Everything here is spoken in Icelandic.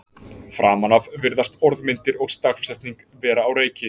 framan af virðast orðmyndir og stafsetning vera á reiki